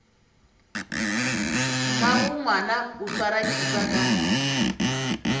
mmagongwana o swara thipa ka